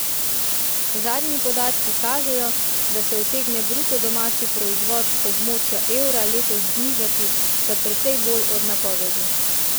Zadnji podatki kažejo, da se utegne bruto domači proizvod območja evra letos znižati za precej bolj od napovedi.